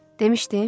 Demışdim?